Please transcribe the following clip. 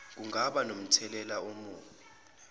kungaba nomthelela omubi